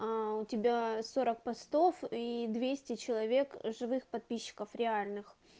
аа у тебя сорок постов и двести человек живых подписчиков реальных